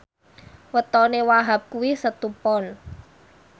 wetone Wahhab kuwi Setu Pon